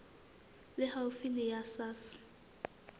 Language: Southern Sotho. le haufi le la sars